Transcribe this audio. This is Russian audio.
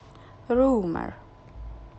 румер